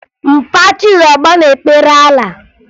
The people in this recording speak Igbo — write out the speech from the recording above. Mpa Chizọba na-ekpere Alaa